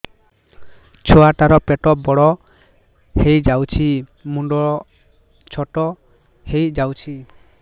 ଛୁଆ ଟା ର ପେଟ ବଡ ହେଇଯାଉଛି ମୁଣ୍ଡ ଛୋଟ ହେଇଯାଉଛି